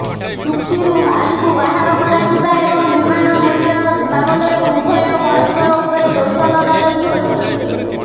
ଚୁକ୍ତିରୁ ହାଲ୍କୁ ବାହାର କରାଯିବା ଏବଂ ବିମାନ ମୂଲ୍ୟ ବାବଦରେ ଉଭୟ ପରସ୍ପର ଉପରେ ଦୋଷ ଲଦାଲଦି ହୋଇଛନ୍ତି